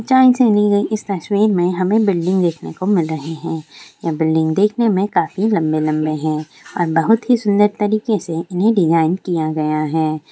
इस तस्वीर में हमें बिल्डिंग देखने को मिल रहे हैं ये बिल्डिंग देखने में काफी लंबे लंबे है और बहुत ही सुंदर तरीके से इन्हें डिजाइन किया गया है।